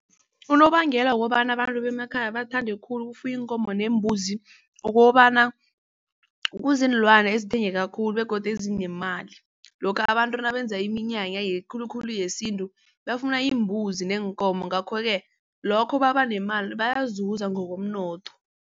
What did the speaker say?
Unobangela wokobana abantu bemakhaya bathande khulu ukufuya iinkomo neembuzi kukobana kuziinlwana ezithengeka khulu begodu ezinemali. Lokha abantu nabenza iminyanya khulukhulu yesintu bafuna iimbuzi neenkomo ngakho-ke lokho babanemali bayazuza ngokomnotho.